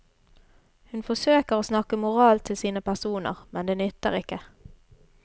Hun forsøker å snakke moral til sine personer, men det nytter ikke.